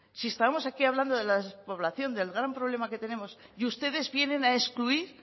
si estamos aquí hablando de la despoblación del gran problema que tenemos y ustedes vienen a excluir